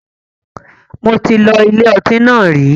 Mo ti lọ ilé ọtí náà rí.